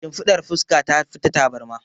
Shimfiɗar fuska tafi ta tabarma.